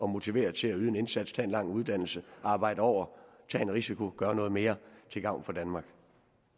motivere til at yde en indsats tage en lang uddannelse arbejde over tage en risiko gøre noget mere til gavn for danmark